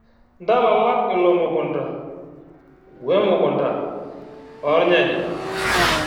Ntalama ilo mukunta we mukunta oo irnyanya.